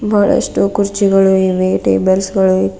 ಬಹಳಷ್ಟು ಕುರ್ಚಿಗಳು ಇವೆ ಟೇಬಲ್ಸ್ ಗಳು.